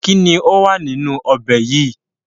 Kínní ó wà nínú ọbẹ̀ yìí?